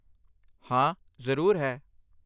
ਹਾਂ, ਜ਼ਰੂਰ, ਹੈ।